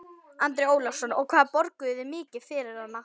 Andri Ólafsson: Og hvað borguðu þið mikið fyrir hana?